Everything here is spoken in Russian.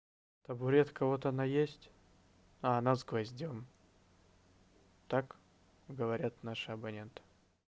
табуретка вот она есть а она с гвоздём так говорят наши абоненты